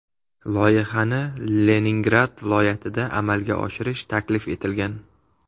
Loyihani Leningrad viloyatida amalga oshirish taklif etilgan.